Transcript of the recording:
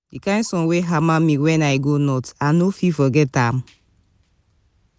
di kain sun wey hama me wen i go north i no fit forget am.